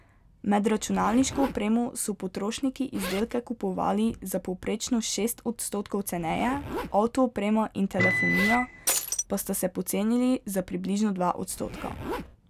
Med računalniško opremo so potrošniki izdelke kupovali za povprečno šest odstotkov ceneje, avto oprema in telefonija pa sta se pocenili za približno dva odstotka.